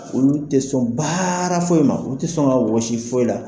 Olu ti sɔn baara foyi ma, olu ti sɔn ka wɔsi foyi la